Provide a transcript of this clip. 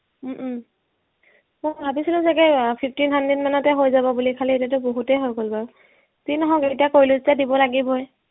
উম উম মই ভাবিছিলো চাগে আহ fifteen hundred মানতে হৈ যাব বুলি খালি এতিয়াতো বহুতে হৈ গল গৈ, যি নহওক এতিয়া কৰিলো যেতিয়া দিব লাগিবই